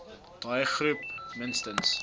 daai groep minstens